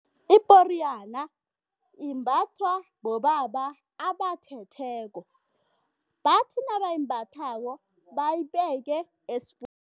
Iporiyana imbathwa bobaba abathetheko, bathi nabayimbathako bayibeke